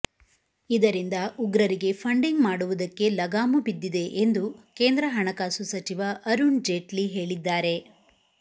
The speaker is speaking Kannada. ಇದರಿಂದ ಉಗ್ರರಿಗೆ ಫಂಡಿಂಗ್ ಮಾಡುವುದಕ್ಕೆ ಲಗಾಮು ಬಿದ್ದಿದೆ ಎಂದು ಕೇಂದ್ರ ಹಣಕಾಸು ಸಚಿವ ಅರುಣ್ ಜೇಟ್ಲಿ ಹೇಳಿದ್ದಾರೆ